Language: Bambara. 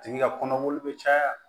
A tigi ka kɔnɔboli bɛ caya